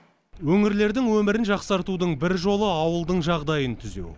өңірлердің өмірін жақсартудың бір жолы ауылдың жағдайын түзеу